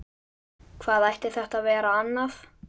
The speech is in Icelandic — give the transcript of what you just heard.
Hvað ætti þetta að vera annað?